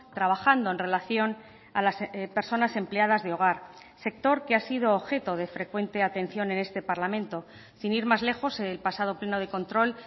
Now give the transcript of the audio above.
trabajando en relación a las personas empleadas de hogar sector que ha sido objeto de frecuente atención en este parlamento sin ir más lejos el pasado pleno de control